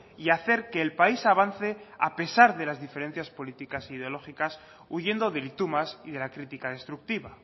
y hacer que el país avance a pesar de las diferencias políticas ideológicas huyendo del y tú más y de la crítica destructiva